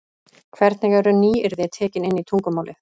Hvernig eru nýyrði tekin inn í tungumálið.